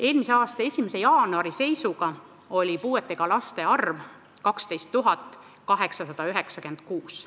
Eelmise aasta 1. jaanuari seisuga oli puudega laste arv 12 896.